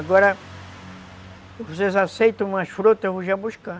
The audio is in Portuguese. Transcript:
Agora... Se vocês aceitam umas frutas, eu vou já buscar.